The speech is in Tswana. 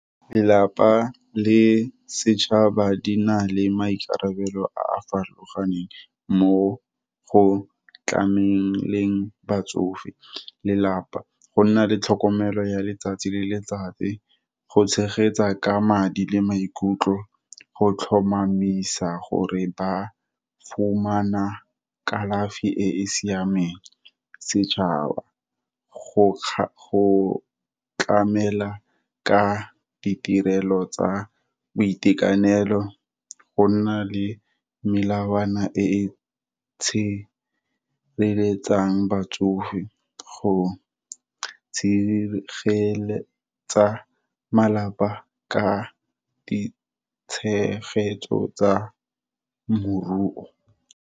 Lelapa le setšhaba di na le maikarabelo a a farologaneng, mo go tlameleng batsofe. Lelapa, go nna le tlhokomelo ya letsatsi le letsatsi, go tshegetsa ka madi, le maikutlo, go tlhomamisa gore ba fumana kalafi e e siameng. Setšhaba, go tlamela ka ditirelo tsa boitekanelo, go nna le melawana e tshireletsang batsofe, go tshegeletsa malapa ka ditshegetso tsa moruo.